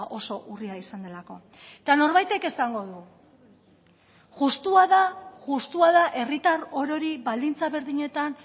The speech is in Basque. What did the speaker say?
oso urria izan delako eta norbaitek esango du justua da justua da herritar orori baldintza berdinetan